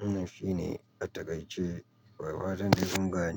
Wannan shi ne a takaice. Da fatan dai ƙungane.